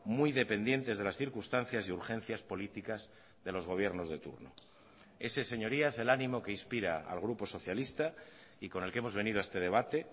muy dependientes de las circunstancias y urgencias políticas de los gobiernos de turno ese es señorías el ánimo que inspira al grupo socialista y con el que hemos venido a este debate